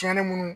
Cɛnni munnu